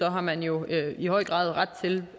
har man jo i høj grad ret til